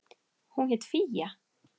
Hún hét Fía.